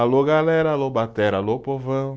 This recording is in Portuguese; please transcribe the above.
Alô galera, alô batera, alô povão.